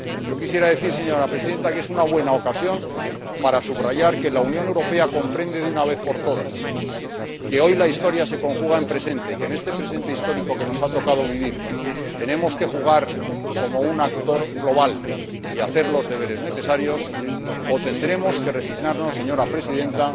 Quisiera decir, señora Presidenta, que es una buena ocasión para subrayar que la Unión Europea comprende, de una vez por todas, que hoy la Historia se conjuga en presente y que en este presente histórico que nos ha tocado vivir tenemos que jugar como un actor global y hacer los deberes necesarios, o tendremos que resignarnos, señora Presidenta,